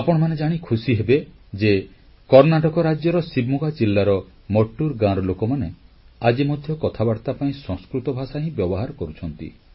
ଆପଣମାନେ ଜାଣି ଖୁସିହେବେ ଯେ କର୍ଣ୍ଣାଟକ ରାଜ୍ୟର ଶିବମୋଗା ଜିଲ୍ଲାର ମଟ୍ଟୁରଗାଁର ଲୋକମାନେ ଆଜି ମଧ୍ୟ କଥାବାର୍ତ୍ତା ପାଇଁ ସଂସ୍କୃତ ଭାଷା ହିଁ ବ୍ୟବହାର କରୁଛନ୍ତି